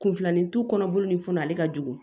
Kunfilanintu kɔnɔboli ni fɛnw na ale ka jugu